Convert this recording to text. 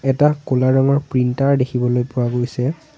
এটা কুলা ৰঙৰ প্ৰিন্টাৰ দেখিবলৈ পোৱা গৈছে।